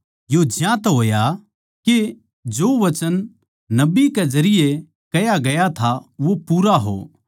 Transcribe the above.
यो ज्यांतै होया के जो वचन नबी के जरिये कह्या गया था वो पूरा हो